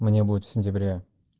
мне будет в сентябре